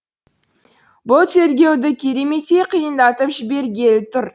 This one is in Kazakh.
бұл тергеуді кереметтей қиындатып жібергелі тұр